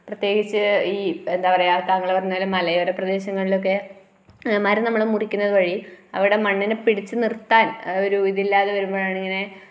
പ്രത്യേകിച്ച് ഈ എന്താ പറയുക താങ്കള് പറഞ്ഞപോലെ മലയോര പ്രദേശങ്ങളിലൊക്കെ മരം നമ്മൾ മുറിക്കുന്നത് വഴി അവിടെ മണ്ണിനെ പിടിച്ചു നിർത്താൻ ഒരു ഇതില്ലാതെ വരുമ്പഴാണ് ഇങ്ങനെ